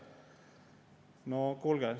No kuulge!